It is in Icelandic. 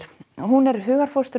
hún er hugarfóstur